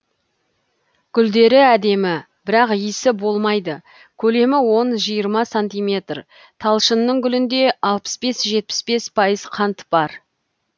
гүлдері әдемі бірақ иісі болмайды көлемі он жиырма сантиметр талшынның гүлінде алпыс бес жетпіс бес пайыз қант бар